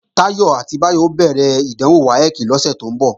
Táyọ̀ àti Báyọ̀ ó bẹ̀rẹ̀ ìdánwò WAEC lọ́sẹ̀ tó ń bọ̀